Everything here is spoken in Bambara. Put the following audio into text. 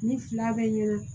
Ni fila bɛ ɲɛna